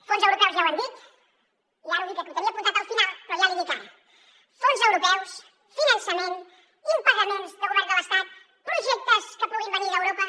fons europeus ja ho hem dit i ara ho dic aquí ho tenia apuntat al final però ja l’hi dic ara fons europeus finançament impagaments de govern de l’estat projectes que puguin venir d’europa